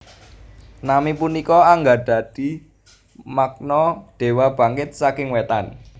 Nami punika anggadhahi makna Dewa Bangkit saking Wétan